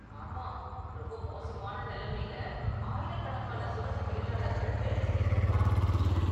ஆமா, ரொம்ப மோசமான நிலைமையில் ஆயிரக்கணக்கான சுரங்க தொழிலாளர்கள் வேலை செய்யறத பாக்க முடிஞ்சது.